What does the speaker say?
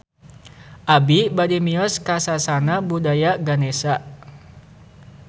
Abi bade mios ka Sasana Budaya Ganesha